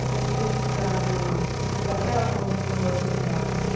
a gente ter estudado daquela forma como nós estudávamos.